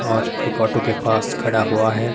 और एक ऑटो के पास खड़ा हुआ है।